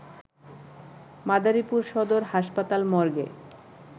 মাদারীপুর সদর হাসপাতাল মর্গে